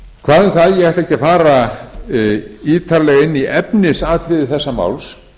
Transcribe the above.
hvað um það ég ætla ekki að fara ítarlega inn í efnisatriði þessa máls